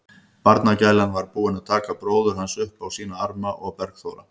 Barnagælan var búin að taka bróður hans upp á sína arma og Bergþóra